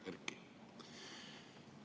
Hea Erki!